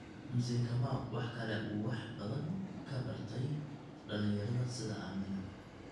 Mzee Kamau waxa kale oo uu wax badan ka bartay dhalinyarada sida Amina.